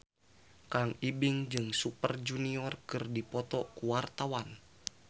Kang Ibing jeung Super Junior keur dipoto ku wartawan